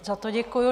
Za to děkuji.